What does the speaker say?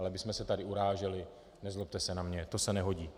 Ale abychom se tady uráželi, nezlobte se na mě, to se nehodí.